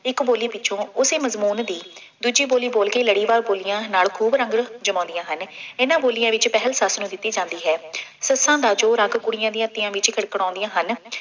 ਇਕ ਬੋਲੀ ਪਿੱਛੋਂ, ਉਸੇ ਮਜ਼ਬੂਨ ਦੀ ਦੂਜੀ ਬੋਲੀ ਬੋਲ ਕੇ ਲੜੀਵਾਰ ਬੋਲੀਆਂ ਨਾਲ ਖੂਬ ਰੰਗ ਜਮਾਉਂਦੀਆਂ ਹਨ। ਇਹਨਾ ਬੋਲੀਆਂ ਵਿੱਚ ਪਹਿਲ ਸੱਸ ਨੂੰ ਦਿੱਤੀ ਜਾਂਦੀ ਹੈ। ਸੱਸਾਂ ਦਾ ਜੋ ਰੰਗ ਕੁੜੀਆਂ ਦੀਆਂ ਤੀਆਂ ਵਿੱਚ ਕਿਣ-ਕਿਣਾਉਦੀਆਂ ਹਨ।